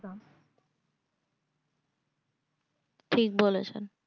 ঠিক বলেছেন